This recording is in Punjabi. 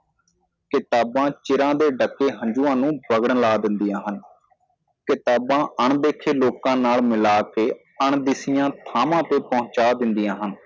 ਕਿਤਾਬਾਂ ਚਿਰਾਂ ਦੇ ਡੱਕੇ ਹੰਜੂਆ ਨੂੰ ਵਗਣ ਲਾ ਦਿੰਦੀਆਂ ਹਨ ਕਿਤਾਬਾਂ ਅਣਦੇਖੇ ਲੋਕਾਂ ਨਾਲ ਮਿਲਾ ਕੇ ਅੰਦਿਸਿਆ ਥਾਵਾਂ ਤੇ ਪਹੁੰਚਾ ਦਿੰਦਿਆਂ ਹਨ